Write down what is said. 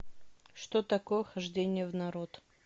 что такое хождение в народ